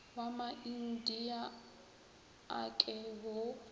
wa maindia a ke wo